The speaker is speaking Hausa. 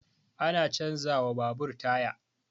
Ana canza wa babur taya